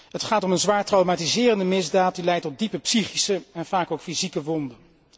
Het gaat om een zwaar traumatiserende misdaad, die leidt tot diepe psychische en vaak ook fysieke wonden.